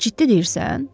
Ciddi deyirsən?